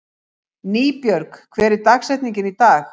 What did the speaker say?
Nýbjörg, hver er dagsetningin í dag?